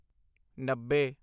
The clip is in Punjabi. ਨੱਬੇ